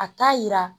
A t'a yira